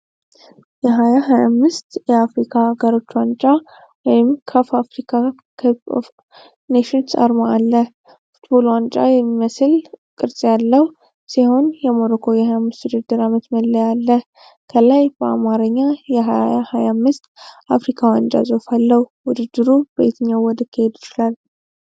የ 2025 የአፍሪካ አገሮች ዋንጫ (ካፍ አፍሪካ ከፕ ኦፍ ኔሽንስ) አርማ አለ። ፉትቦል ዋንጫ የሚመስል ቅርፅ ያለው ሲሆን የሞሮኮ የ 25 የውድድር ዓመት መለያ አለ። ከላይ በአማርኛ የ 2025 አፍሪካ ዋንጫ ጽሁፍ አለው። ውድድሩ በየትኛው ወር ሊካሄድ ይችላል?